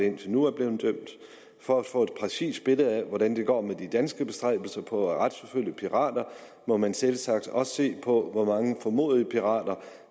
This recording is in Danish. indtil nu er blevet dømt for at få et præcist billede af hvordan det går med de danske bestræbelser på at retsforfølge pirater må man selvsagt også se på hvor mange formodede pirater